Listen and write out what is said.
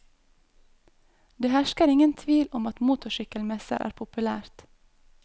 Det hersker ingen tvil om at motorsykkelmesser er populært.